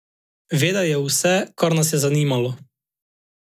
Vedel je vse, kar nas je zanimalo.